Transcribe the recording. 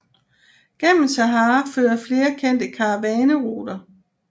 Gennem Sahara fører flere kendte karavaneruter